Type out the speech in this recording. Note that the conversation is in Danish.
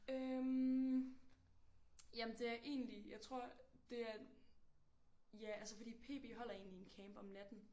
Øh jamen det er egentlig jeg tror det er. Ja altså fordi PB holder egentlig en camp om natten